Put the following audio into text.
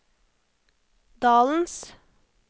dalens